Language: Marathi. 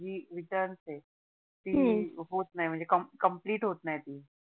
ती होत नाही म्हणजे COMPLETE होत नाही ती